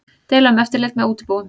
Deila um eftirlit með útibúum